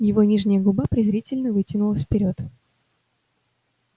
его нижняя губа презрительно вытянулась вперёд